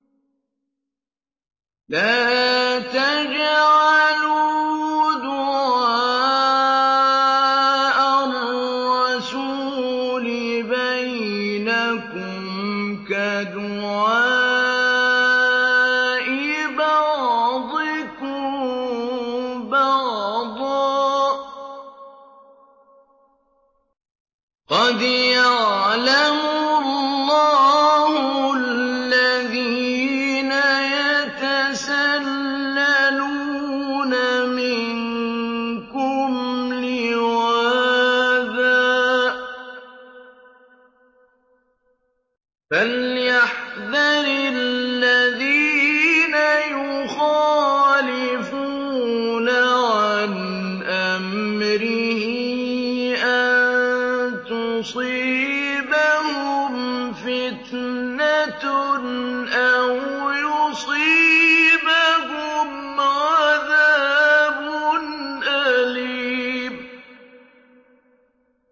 لَّا تَجْعَلُوا دُعَاءَ الرَّسُولِ بَيْنَكُمْ كَدُعَاءِ بَعْضِكُم بَعْضًا ۚ قَدْ يَعْلَمُ اللَّهُ الَّذِينَ يَتَسَلَّلُونَ مِنكُمْ لِوَاذًا ۚ فَلْيَحْذَرِ الَّذِينَ يُخَالِفُونَ عَنْ أَمْرِهِ أَن تُصِيبَهُمْ فِتْنَةٌ أَوْ يُصِيبَهُمْ عَذَابٌ أَلِيمٌ